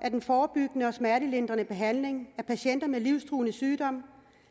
at den forebyggende og smertelindrende behandling af patienter med livstruende sygdom